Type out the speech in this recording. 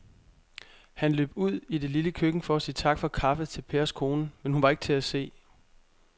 Han løb ud i det lille køkken for at sige tak for kaffe til Pers kone, men hun var ikke til at se.